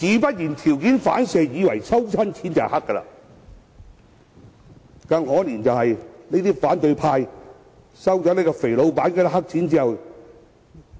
於是條件反射，自然以為凡是收錢便一定是黑錢。